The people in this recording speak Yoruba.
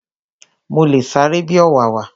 Mo le sáré bi ọ̀wàwà